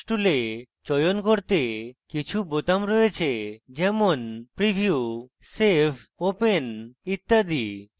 curves tool চয়ন করতে কিছু বোতাম রয়েছে যেমন preview save open ইত্যাদি